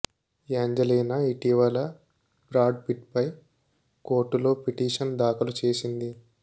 Angelina ఇటీవల Brad Pitt పై కోర్టులో పిటిషన్ దాఖలు చేసింది